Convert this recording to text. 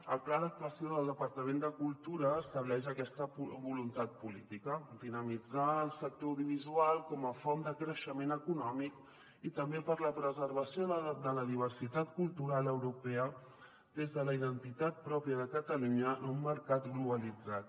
el pla d’actuació del departament de cultura estableix aquesta voluntat política dinamitzar el sector audiovisual com a font de creixement econòmic i també per a la preservació de la diversitat cultural europea des de la identitat pròpia de catalunya en un mercat glo·balitzat